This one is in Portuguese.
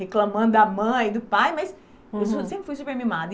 reclamando da mãe, do pai, mas, uhum, eu sempre fui super mimada.